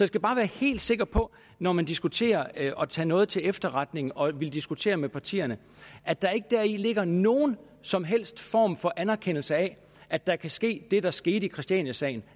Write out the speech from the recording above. skal bare være helt sikker på når man diskuterer og tager noget til efterretning og vil diskutere med partierne at der ikke deri ligger nogen som helst form for anerkendelse af at der kan ske det der skete i christianiasagen